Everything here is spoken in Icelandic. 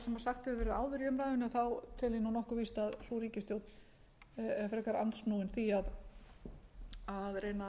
sagt hefur verið áður í umræðunni tel ég nokkuð víst að sú ríkisstjórn sé frekar andsnúin því að reyna